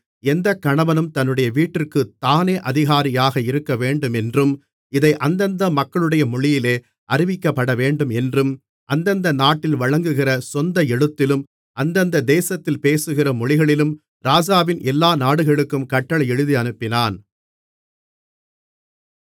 எந்த கணவனும் தன்னுடைய வீட்டிற்குத் தானே அதிகாரியாக இருக்கவேண்டும் என்றும் இதை அந்தந்த மக்களுடைய மொழியிலே அறிவிக்கப்பட வேண்டும் என்றும் அந்தந்த நாட்டில் வழங்குகிற சொந்த எழுத்திலும் அந்தந்த தேசத்தில் பேசுகிற மொழிகளிலும் ராஜாவின் எல்லா நாடுகளுக்கும் கட்டளை எழுதி அனுப்பினான்